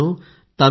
मित्रांनो